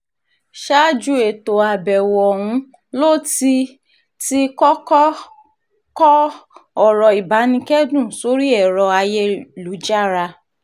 ṣáájú ètò àbẹ̀wò ọ̀hún ló ti ti kọ́kọ́ kọ ọ̀rọ̀ ìbánikẹ́dùn sórí ẹ̀rọ ayélujára